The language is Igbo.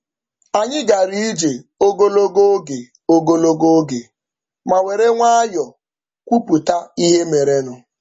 Anyị gara ije ogologo oge ogologo oge ma were nwayọ kwupụta ihe merenụ.